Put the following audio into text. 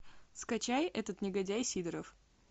скачай этот негодяй сидоров